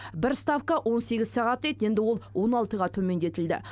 бір ставка он сегіз сағат дейді енді ол он алтыға төмендетілді